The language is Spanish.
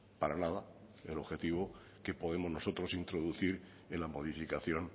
para nada el objetivo que podemos nosotros introducir en la modificación